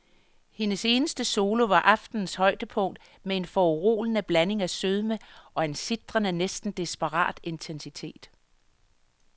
Hendes eneste solo var aftenens højdepunkt med en foruroligende blanding af sødme og en sitrende, næsten desperat intensitet.